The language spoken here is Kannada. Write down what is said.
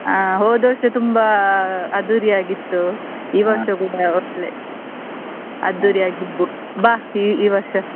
ಆ ಹೋದ ವರ್ಷ ತುಂಬಾ ಅದ್ದೂರಿ ಆಗಿತ್ತು, ಕೂಡ ಒಳ್ಳೆ ಆಗಿ ಇರ್ಬೋದು ಬಾ ಈ ಈ ವರ್ಷ.